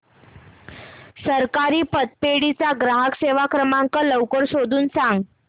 सहकारी पतपेढी चा ग्राहक सेवा क्रमांक लवकर शोधून सांग